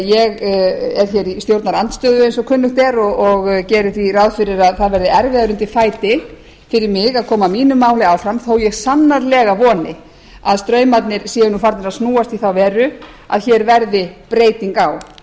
ég er hér í stjórnarandstöðu eins og kunnugt er og geri því ráð fyrir að það verði erfiðara undir fæti fyrir mig að koma mínu máli áfram þó ég sannarlega voni að straumarnir séu farnir að snúast í þá veru að hér verði breyting